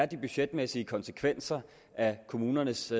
de budgetmæssige konsekvenser af kommunernes